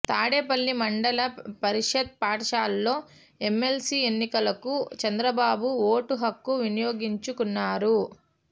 తాడేపల్లి మండల పరిషత్ పాఠశాలలో ఎమ్మెల్సీ ఎన్నికలకు చంద్రబాబు ఓటు హక్కు వినియోగించుకున్నారు